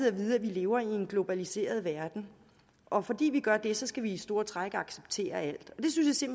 at vide at vi lever i en globaliseret verden og fordi vi gør det skal vi i store træk acceptere alt det synes jeg